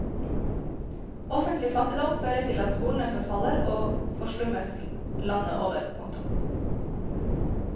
Offentlig fattigdom fører til at skolene forfaller og forslummes landet over. punktum